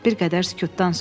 Bir qədər sükutdan sonra.